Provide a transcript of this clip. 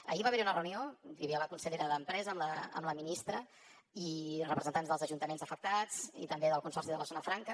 ahir va haver hi una reunió hi havia la consellera d’empresa amb la ministra i representants dels ajuntaments afectats i també del consorci de la zona franca